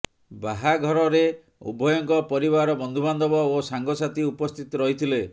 ବାହାଘରରେ ଉଭୟଙ୍କ ପରିବାର ବନ୍ଧୁବାନ୍ଧବ ଓ ସାଙ୍ଗସାଥୀ ଉପସ୍ଥିତ ରହିଥିଲେ